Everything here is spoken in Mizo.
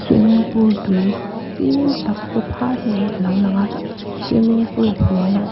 swimming pool tui fîm tak paw phât mai a lo lang a swimming pool hnuaiah ch --